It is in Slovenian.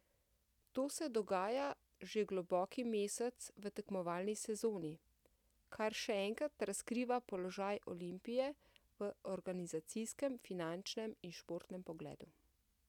To se dogaja že globoki mesec v tekmovalni sezoni, kar še enkrat razkriva položaj Olimpije v organizacijskem, finančnem in športnem pogledu.